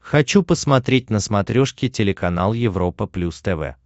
хочу посмотреть на смотрешке телеканал европа плюс тв